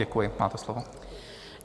Děkuji, máte slovo.